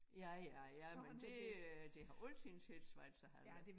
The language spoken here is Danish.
Ja ja ja men det øh det har altid heddet Schweizerhalle